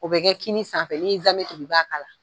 O bɛ kɛ kini sanfɛ n'i ye zaamɛ tobi i b'a